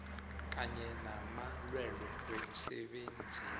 kanye namalwelwe wemsebenzini